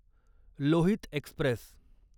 Lohit Express